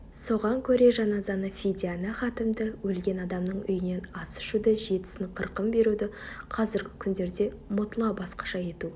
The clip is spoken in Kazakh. соған көре жаназаны фидияны хатімді өлген адамның үйінен ас ішуді жетісін қырқын беруді қазіргі күндерде мұтла басқаша ету